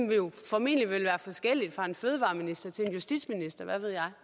vil jo formentlig være forskellig fra en fødevareminister til en justitsminister hvad ved jeg